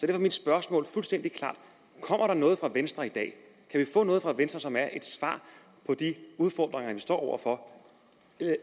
er mit spørgsmål fuldstændig klart kommer der noget fra venstre i dag kan vi få noget fra venstre som er et svar på de udfordringer vi står over for